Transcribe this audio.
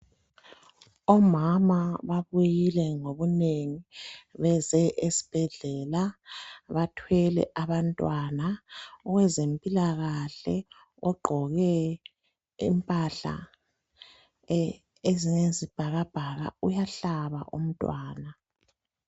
Omama babuyile ngobunengi beze esbhedlela bathwele abantwana kwezempilakahle ogqoke impahla ezinjengesibhakabhaka uyahlaba umntwana